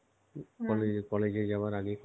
college~ college~ এ যাবার আগে